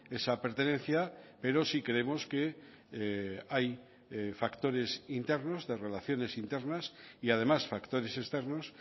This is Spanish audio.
esa pertenencia pero sí creemos que hay factores internos de relaciones internas y además factores externos